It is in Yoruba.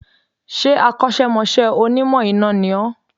Ṣé Akọ́sẹ́mọsẹ́ Onímọ̀ iná ni ó